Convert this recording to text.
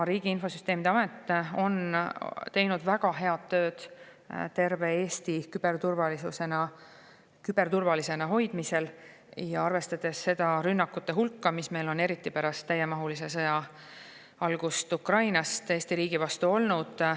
Riigi Infosüsteemi Amet on teinud väga head tööd terve Eesti küberturvalisena hoidmisel, arvestades rünnakute hulka, mis meil Eesti riigi vastu on olnud, eriti pärast täiemahulise sõja algust Ukrainas.